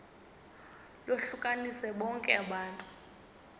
lohlukanise bonke abantu